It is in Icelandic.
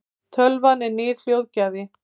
tölvan er nýr hljóðgjafi